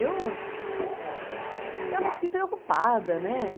Eu... ficava assim, preocupada, né?